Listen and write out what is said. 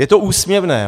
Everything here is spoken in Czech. Je to úsměvné.